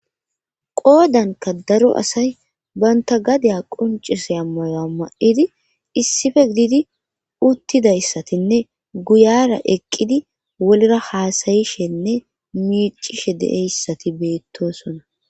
qoodanka daro asay banta gadiya quncisea mayoa ma7idi issife gididi uttidayssatinne guyara eqqidi wolra haasayishenne miicishe de7eyssati beettosona